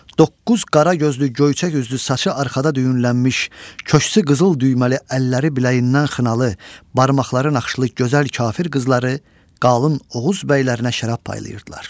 Doqquz qara gözlü göyçək üzlü, saçı arxada düyünlənmiş, köksü qızıl düyməli, əlləri biləyindən xınalı, barmaqları naxışlı gözəl kafir qızları qalın Oğuz bəylərinə şərab paylayırdılar.